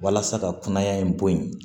Walasa ka kunaya in bɔ yen